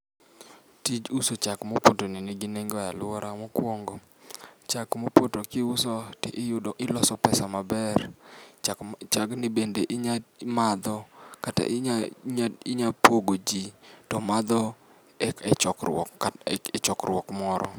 Tij uso chak mopotoni nigi nengo e aluorawa, mokuongo chak mopoto kiuso to iyudo iloso pesa maber. Chak mop chagni bende inyalo madho kata inya pogoji to madho e chokruok moro.